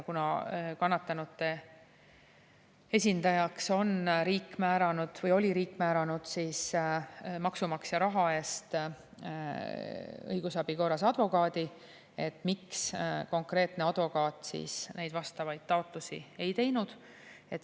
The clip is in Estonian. Kuna kannatanute esindajaks oli riik määranud maksumaksja raha eest õigusabi korras advokaadi, siis miks konkreetne advokaat neid vastavaid taotlusi ei teinud?